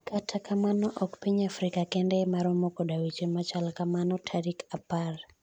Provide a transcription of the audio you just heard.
kata kamano ok piny Afrika kende ema romo koda weche machal kamano, tarik apar